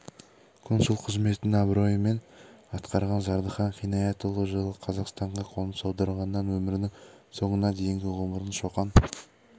консул қызметін абыроймен атқарған зардыхан қинаятұлы жылы қазақстанға қоныс аударғаннан өмірінің соңына дейінгі ғұмырын шоқан